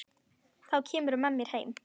Þá kemurðu með mér heim.